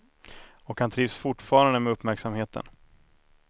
Och han trivs fortfarande med uppmärksamheten.